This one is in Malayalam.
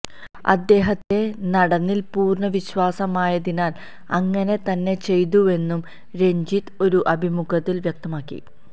അദ്ദേഹത്തിലെ നടനില് പൂര്ണ വിശ്വാസമായതിനാല് അങ്ങനെ തന്നെ ചെയ്തുവെന്നും രഞ്ജിത്ത് ഒരു അഭിമുഖത്തില് വ്യക്തമാക്കി